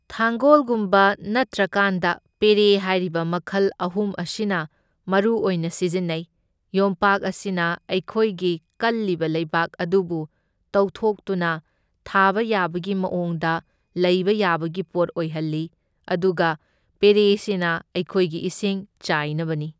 ꯊꯥꯡꯒꯣꯜꯒꯨꯝꯕ ꯅꯠꯇ꯭ꯔꯀꯥꯟꯗ ꯄꯦꯔꯦ ꯍꯥꯏꯔꯤꯕ ꯃꯈꯜ ꯑꯍꯨꯝ ꯑꯁꯤꯅ ꯃꯔꯨꯑꯣꯏꯅ ꯁꯤꯖꯤꯟꯅꯩ, ꯌꯣꯝꯄꯥꯛ ꯑꯁꯤꯅ ꯑꯩꯈꯣꯏꯒꯤ ꯀꯜꯂꯤꯕ ꯂꯩꯕꯥꯛ ꯑꯗꯨꯕꯨ ꯇꯧꯊꯣꯛꯇꯨꯅ ꯊꯥꯕ ꯌꯥꯕꯒꯤ ꯃꯑꯣꯡꯗ ꯂꯩꯕ ꯌꯥꯕꯒꯤ ꯄꯣꯠ ꯑꯣꯏꯍꯜꯂꯤ, ꯑꯗꯨꯒ ꯄꯦꯔꯦꯁꯤꯅ ꯑꯩꯈꯣꯏꯒꯤ ꯏꯁꯤꯡ ꯆꯥꯏꯅꯕꯅꯤ꯫